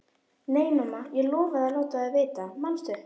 Nei, mamma, ég lofaði að láta þig vita, manstu?